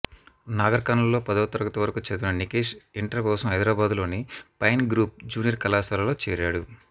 నాగర్కర్నూల్లో పదో తరగతి వరకు చదివిన నికేష్ ఇంటర్ కోసం హైదరాబాద్లోని పైన్ గ్రూవ్ జూనియర్ కళాశాలలో చేరాడు